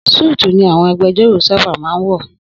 Súùtù ni àwọn agbejọ́rò sábà máa ń wọ̀.